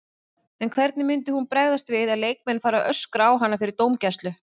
En hvernig myndi hún bregðast við ef leikmenn fara að öskra á hana fyrir dómgæslu?